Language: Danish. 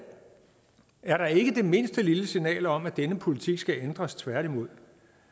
er der ikke det mindste lille signal om at denne politik skal ændres tværtimod